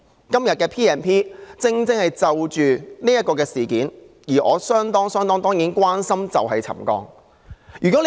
今天的議案正正是要處理此事，而我相當關心的，就是沉降問題。